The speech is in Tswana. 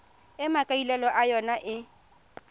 e maikaelelo a yona e